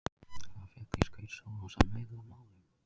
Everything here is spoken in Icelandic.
Það féll í skaut Sólons að miðla málum.